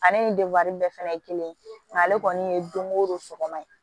Ale ni bɛɛ fɛnɛ ye kelen ye nga ale kɔni ye don ko don sɔgɔma ye